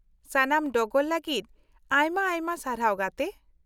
-ᱥᱟᱱᱟᱢ ᱰᱚᱜᱚᱨ ᱞᱟᱹᱜᱤᱫ ᱟᱭᱢᱟ ᱟᱭᱢᱟ ᱥᱟᱨᱦᱟᱣ ᱜᱟᱛᱮ ᱾